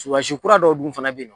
Surasikura dɔw dun fana bɛ yen.